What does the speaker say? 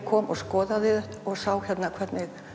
kom og skoðaði þetta og sá hérna hvernig